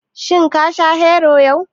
Shin ka sha Hero yau?